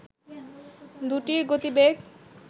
দুটির গতিবেগ